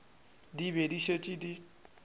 di be di šetše di